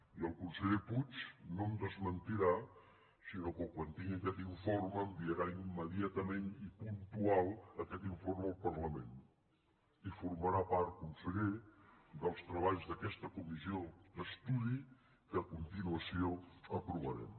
i el conseller puig no em desmentirà sinó que quan tingui aquest informe enviarà immediatament i puntual aquest informe al parlament i formarà part conseller dels treballs d’aquesta comissió d’estudi que a continuació aprovarem